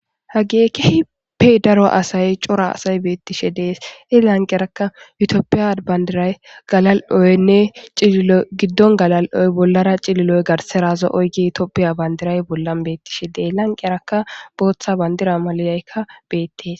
Hageekke hippe daro asay cora asay beettishe dees ilanqerakka yutooppiya bandiray galal'oynne ciilo giddon galal'oy bollara cililoy garseraazo oygi itooppiya bandiray bollan beettishe dee lanqerakka booththa bandira maliyaykka beettes.